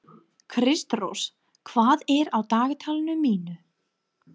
Kristrós, hvað er á dagatalinu í dag?